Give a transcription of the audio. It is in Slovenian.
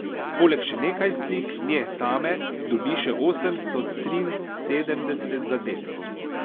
Poleg še nekaj slik nje same dobi še osemsto triinosemdeset zadetkov.